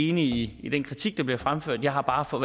enig i den kritik der bliver fremført jeg har bare for